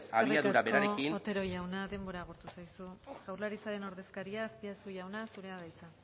eskerrik asko otero jauna denbora agortu zaizu jaurlaritzaren ordezkaria azpiazu jauna zurea da hitza